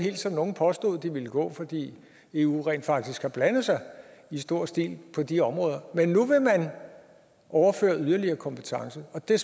som nogle påstod de ville gå fordi eu rent faktisk har blandet sig i stor stil på de områder men nu vil man overføre yderligere kompetence og det